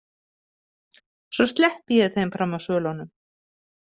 Svo sleppi ég þeim fram af svölunum.